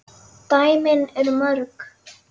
Dæmin eru mörg.